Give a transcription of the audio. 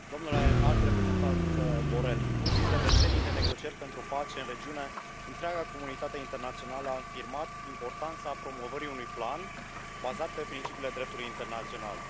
Domnule președinte, domnule Înalt Reprezentant Borrell, în ultimele decenii de negocieri pentru pace în regiune, întreaga comunitate internațională a afirmat importanța promovării unui plan bazat pe principiile dreptului internațional.